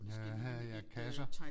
Ja ja kasser